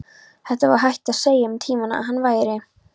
Það var hægt að segja um tímann að hann væri.